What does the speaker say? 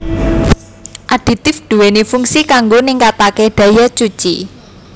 Aditif duwéni fungsi kanggo ningkataké daya cuci